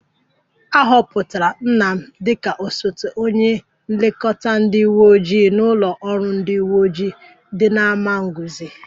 A họpụtara nna m dịka osote onye nlekọta ndị uwe ojii n'ụlọ ọrụ ndị uwe ojii dị n'Amagunze